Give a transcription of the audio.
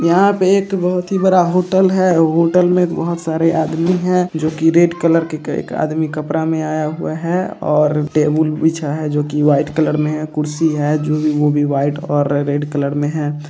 यहाँ पे एक बहुत ही बड़ा होटल है | होटल में बहुत सारे आदमी हैं जो की रेड कलर के एक आदमी कपडा में आया हुआ है और टेबूल बिछा है जो की वाइट कलर में है कुर्सी है जो भी है वह वाइट और रेड कलर में है |